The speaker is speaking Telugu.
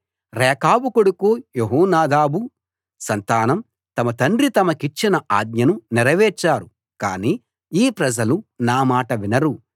రేకాబు కొడుకు యెహోనాదాబు సంతానం తమ తండ్రి తమకిచ్చిన ఆజ్ఞను నెరవేర్చారు కాని ఈ ప్రజలు నా మాట వినరు